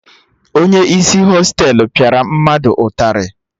Onye isi Hostelu pịara mmadụ ụtarị